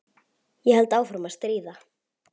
Ég held áfram að stríða.